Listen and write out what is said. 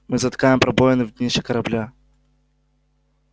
мы затыкаем пробоины в днище корабля